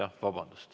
Vabandust!